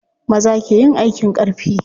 Maza ke yin aikin ƙarfi.